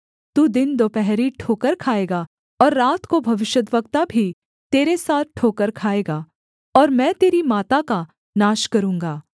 तू दिन दुपहरी ठोकर खाएगा और रात को भविष्यद्वक्ता भी तेरे साथ ठोकर खाएगा और मैं तेरी माता का नाश करूँगा